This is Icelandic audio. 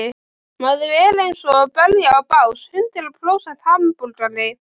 Maður er einsog belja á bás, hundrað prósent hamborgari.